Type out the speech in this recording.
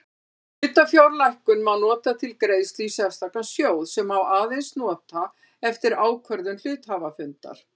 Hlutafjárlækkun má nota til greiðslu í sérstakan sjóð sem aðeins má nota eftir ákvörðun hluthafafundar.